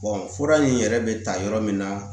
fura in yɛrɛ bɛ ta yɔrɔ min na